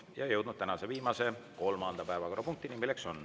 Ja oleme jõudnud tänase viimase, kolmanda päevakorrapunktini.